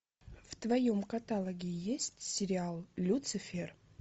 в твоем каталоге есть сериал люцифер